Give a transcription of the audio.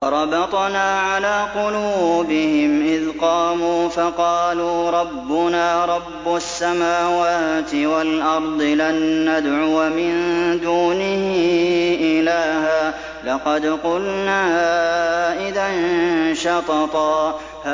وَرَبَطْنَا عَلَىٰ قُلُوبِهِمْ إِذْ قَامُوا فَقَالُوا رَبُّنَا رَبُّ السَّمَاوَاتِ وَالْأَرْضِ لَن نَّدْعُوَ مِن دُونِهِ إِلَٰهًا ۖ لَّقَدْ قُلْنَا إِذًا شَطَطًا